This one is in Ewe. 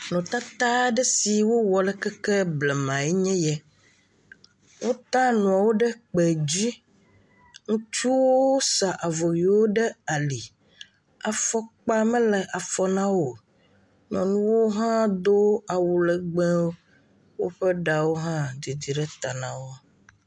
Nutata aɖe si ke wowɔ tso keke blema lae nye ya, wota nuawo ɖe kpe dzi. Ŋutsuwo sa avɔ ʋi ɖe ali, afɔkpa mele afɔ na wo o. Nyɔnuwo hã do awu legbẽ, woƒe ɖawo hã didi ɖe ta nawo.